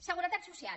seguretat social